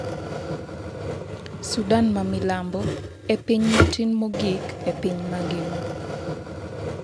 Sudan ma milambo e piny matin mogik e piny mangima